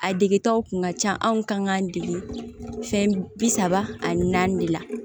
A degetaw kun ka ca anw kan k'an dege fɛn bi saba ani naani de la